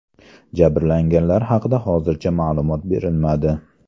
Jabrlanganlar haqida hozircha ma’lumot berilmadi.